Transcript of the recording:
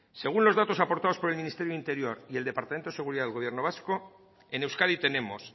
según los datos aportados por el ministerio de interior y el departamento de seguridad del gobierno vasco en euskadi tenemos